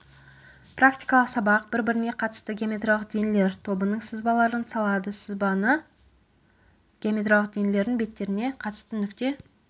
практикалық сабақ бір біріне қатысты геометриялық денелер тобының сызбаларын салады сызбаны геометриялық денелердің беттеріне қатысты нүкте